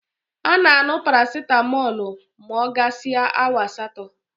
A na-añụ paracitamọ ma ọ gasịa awa asatọ.